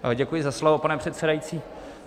Děkuji za slovo, pane předsedající.